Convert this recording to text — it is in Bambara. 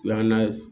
O y'an na